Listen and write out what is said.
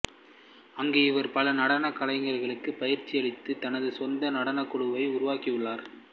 அங்கு இவர் பல நடனக் கலைஞர்களுக்கு பயிற்சியளித்து தனது சொந்த நடனக் குழுவை உருவாக்கியுள்ளார்